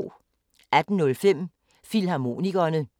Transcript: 18:05: Filmharmonikerne 02:30: Ugens Playliste